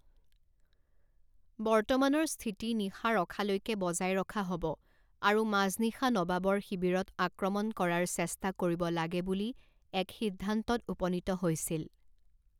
বৰ্তমানৰ স্থিতি নিশা ৰখালৈকে বজাই ৰখা হ'ব আৰু মাজনিশা নবাবৰ শিবিৰত আক্ৰমণ কৰাৰ চেষ্টা কৰিব লাগে বুলি এক সিদ্ধান্তত উপনীত হৈছিল।